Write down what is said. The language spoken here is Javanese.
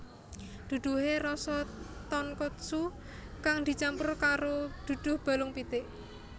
Duduhe rasa tonkotsu kang dicampur karo duduh balung pitik